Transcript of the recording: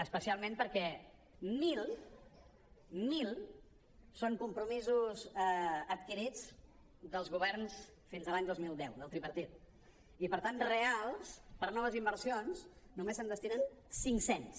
especialment perquè mil mil són compromisos adquirits dels governs fins a l’any dos mil deu del tripartit i per tant reals per a noves inversions només se’n destinen cinc cents